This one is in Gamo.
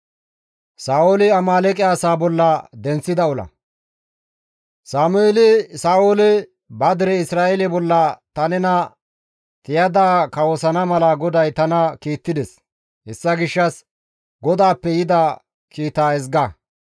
Sameeli Sa7oole, «Ba dere Isra7eele bolla ta nena tiyada kawosana mala GODAY tana kiittides; hessa gishshas GODAAPPE yida kiita ezga.